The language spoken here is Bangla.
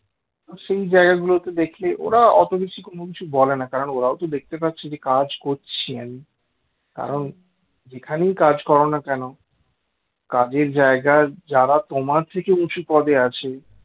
সেই জায়গা গুলোকে দেখে ওরা অত কিছু বলে না কারণ ওরাও তো দেখতে পাচ্ছে কাজ করছি আমি কারণ যেখানেই কাজ করো না কেন কাজের জায়গায় যারা তোমার থেকে উঁচু পদে আছে